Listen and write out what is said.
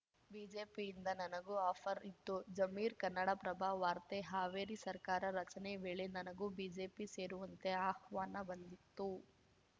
ಬಿಜೆಪಿಯಿಂದ ನನಗೂ ಆಫರ್‌ ಇತ್ತು ಜಮೀರ್‌ ಕನ್ನಡಪ್ರಭ ವಾರ್ತೆ ಹಾವೇರಿ ಸರ್ಕಾರ ರಚನೆ ವೇಳೆ ನನಗೂ ಬಿಜೆಪಿ ಸೇರುವಂತೆ ಆಹ್ವಾನ ಬಂದಿತ್ತು